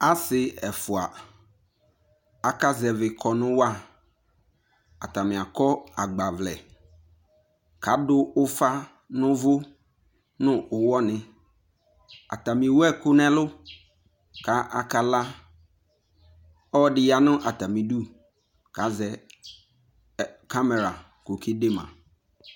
Ase ɛfua aka zɛve kɔnu wa Atame akɔ agbavlɛ ko ado ufa no uvu no uwɔ ne Atame ewu ɛku no ɛlu ko aka la ɔde ya no atame du ko azɛ ɛ kamɛra ko ɔkede ma